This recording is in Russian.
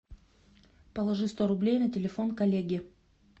положи сто рублей на телефон коллеги